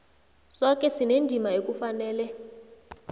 soke sinendima ekufanele